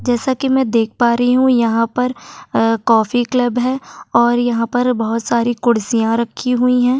जैसा कि मैं देख पा रही हूं यहां पर अअ कॉफी क्लब है और यहां पर बहुत सारी कुर्सियां रखी हुई है।